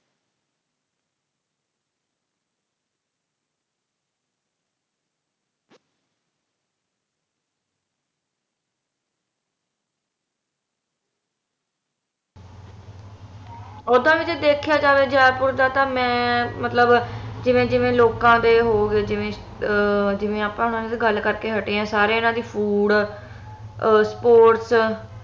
ਓਦਾਂ ਵੀ ਜ ਦੇਖਿਆ ਜਾਵੇ ਜੈਪੁਰ ਦਾ ਤਾ ਮੈਂ ਮਤਲਬ ਜਿਵੇ ਜਿਵੇ ਲੋਕਾਂ ਦੇ ਹੋਗੇ ਜਿਵੇ ਅਹ ਆਪਾ ਗੱਲ ਕਰਕੇ ਹਟੇ ਆ ਸਾਰੇ ਏਹਨਾ ਦੇ food, sports